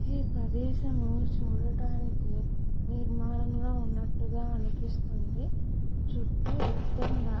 ఈ ప్రదేశం చూడడానికి నిర్మాణంగా ఉన్నట్టుగా అనిపిస్తుంది చుట్టూ ఎతైన --